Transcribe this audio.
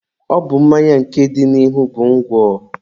Ọ bụ mmanya nke dị n'ihu bụ ngwọ.